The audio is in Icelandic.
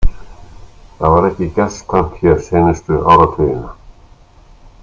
Það var ekki gestkvæmt hér seinustu áratugina.